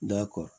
Dɔ kɔ